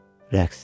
Rəqs.